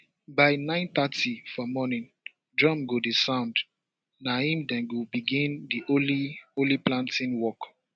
by nine thirty for morning drum go dey sound na im dem go begin di holy holy planting walk